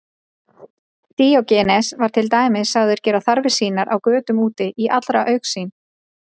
Díógenes var til dæmis sagður gera þarfir sínar á götum úti í allra augsýn.